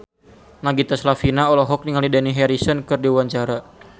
Nagita Slavina olohok ningali Dani Harrison keur diwawancara